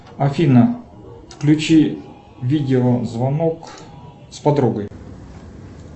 афина включи видеозвонок с подругой